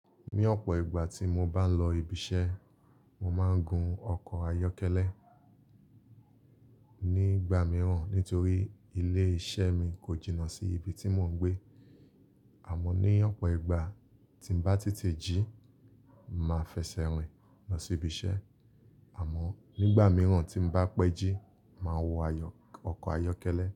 Ní ọ̀pọ̀ ìgbà tí mo bá ń lọ ibi iṣẹ́, mo máa ń gun ọkọ̀ ayọ́kẹ́lẹ́. Nígbà mìíràn, nítorí ilé iṣẹ́ mi kò jìnnà sí ibi tí mò ń gbé, àmọ́ ní ọ̀pọ̀ ìgbà tí n bá tètè jí, màá fẹsẹ̀ rìn lọ sí ibi iṣẹ́. Àmọ́ nígbà mìíràn tí n bá pẹ́ jí, màá wọ ayọ̀, ọkọ̀ ayọ́kẹ́lẹ́.